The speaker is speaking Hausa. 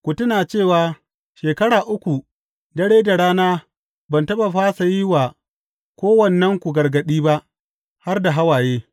Ku tuna cewa shekara uku, dare da rana ban taɓa fasa yin wa kowannenku gargaɗi ba, har da hawaye.